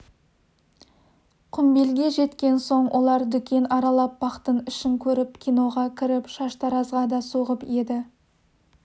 құмбелге жеткен соң олар дүкен аралап бақтың ішін көріп киноға кіріп шаштаразға да соғып еді